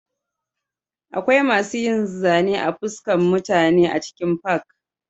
Akwai masu yin zane a fuskan mutane a cikin fak